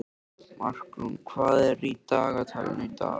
Markrún, hvað er í dagatalinu í dag?